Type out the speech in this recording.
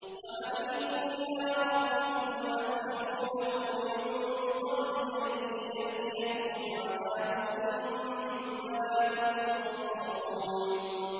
وَأَنِيبُوا إِلَىٰ رَبِّكُمْ وَأَسْلِمُوا لَهُ مِن قَبْلِ أَن يَأْتِيَكُمُ الْعَذَابُ ثُمَّ لَا تُنصَرُونَ